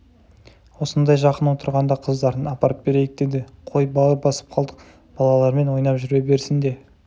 осындай жақын отырғанда қыздарын апарып берейік деді қой бауыр басып қалдық балалармен ойнап жүре берсін де